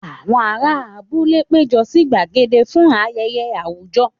Àwọn ará abúlé péjọ sí gbàgede fún ayẹyẹ àwùjọ.